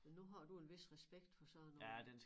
Men nu har du en vis respekt for sådan noget